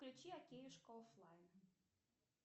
включи океюшка оффлайн